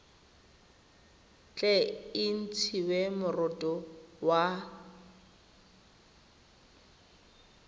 tle e ntshiwe moroto wa